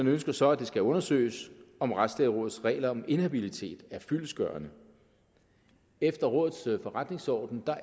ønsker så at det skal undersøges om retslægerådets regler om inhabilitet er fyldestgørende efter rådets forretningsorden